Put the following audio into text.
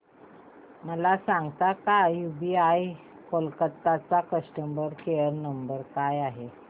मला सांगता का यूबीआय कोलकता चा कस्टमर केयर नंबर काय आहे